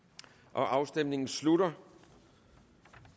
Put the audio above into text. afstemningen slutter